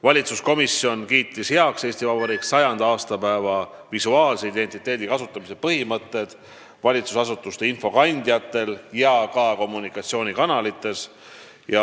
Valitsuskomisjon kiitis heaks põhimõtted, millest lähtudes kasutada Eesti Vabariigi 100. aastapäeva visuaalset identiteeti valitsusasutuste infokandjatel ja kommunikatsioonikanalites.